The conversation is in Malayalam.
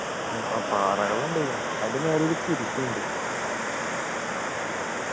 ആഹ് പാറകളും ഉണ്ട് ഇവിടെ അതിൻ്റെ മേലെയൊരു കുരിശും ഉണ്ട്